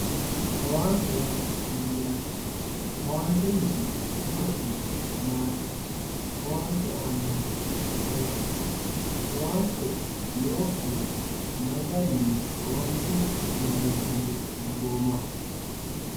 owaante yaa mayaate owanteniti horose maati owaante aanohu ayiiti owaante nookkiwa may garinni owaante ilinshanni dagoomaho